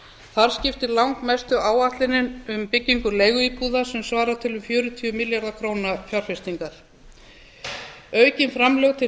þar skiptir langmestu áætlunin um byggingu leiguíbúða sem svarar til um fjörutíu milljarða króna fjárfestingar aukin framlög til